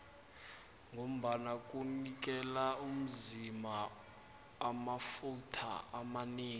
ngombana kunikela umzima amafutha amanengi